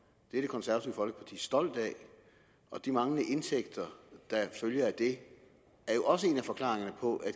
det er det konservative folkeparti stolt af og de manglende indtægter der følger af det er jo også en af forklaringerne på at